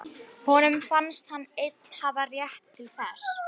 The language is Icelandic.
Honum fannst hann einn hafa rétt til þess.